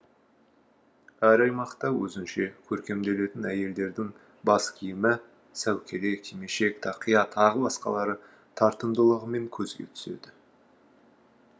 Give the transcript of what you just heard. әр аймақта өзінше көркемделетін әйелдердің баскиімі сәукеле кимешек тақия тағы басқалары тартымдылығымен көзге түседі